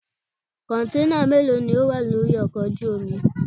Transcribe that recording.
Kọ̀ǹténà mélòó ló wà lórí ọkọ̀ ojú omi?